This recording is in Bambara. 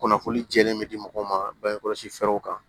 Kunnafoni jɛlen bɛ di mɔgɔw ma bange kɔlɔsi fɛɛrɛw kan